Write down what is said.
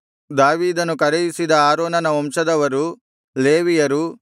ದಾವೀದನು ಕರೆಯಿಸಿದ ಆರೋನನ ವಂಶದವರು ಲೇವಿಯರು